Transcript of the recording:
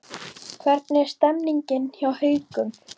Hvernig er stemningin hjá Haukum?